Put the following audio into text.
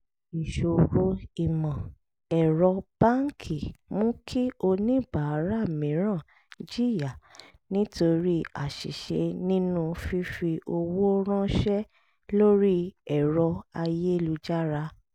ìṣòro ìmọ̀-ẹ̀rọ báńkì mú kí oníbàárà mìíràn jìyà nítorí àṣìṣe nínú fífi owó ránṣẹ́ lórí ẹ̀rọ ayélujára